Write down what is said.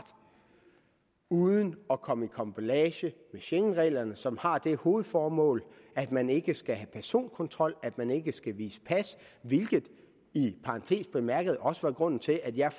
uden at komme i karambolage med schengenreglerne som har det hovedformål at man ikke skal have personkontrol at man ikke skal vise pas hvilket i parentes bemærket også var grunden til at jeg